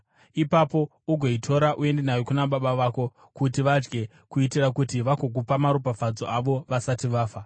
Ipapo ugoitora uende nayo kuna baba vako kuti vadye, kuitira kuti vagokupa maropafadzo avo vasati vafa.”